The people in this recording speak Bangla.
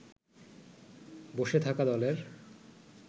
বসে থাকা দলের